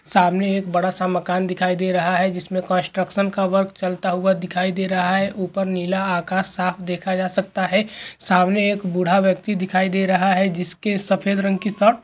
सामने एक बड़ा सा मकान दिखाई दे रहा है जिसमें कंस्ट्रक्शन का वर्क चलता हुआ दिखाई दे रहा है ऊपर नीला आकाश साफ देखा जा सकता है रंग के सामने एक बुढा व्यक्ति दिखाई दे रहा हे जिसकी सफ़ेद रंग की शर्ट --